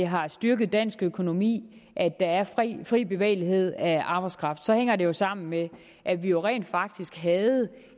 har styrket dansk økonomi at der er fri bevægelighed af arbejdskraft hænger det jo sammen med at vi rent faktisk havde